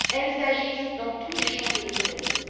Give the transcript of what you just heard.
Elles agissent dans tous les champs de l'économie.